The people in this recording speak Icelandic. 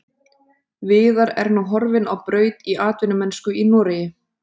Viðar er nú horfinn á braut í atvinnumennsku í Noregi.